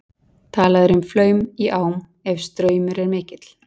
Talað er um flaum í ám ef straumur er mikill.